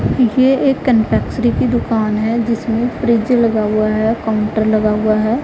ये एक कन्फेक्शनरी की दुकान है जिसमें फ्रिज लगा हुआ है काउंटर लगा हुआ है।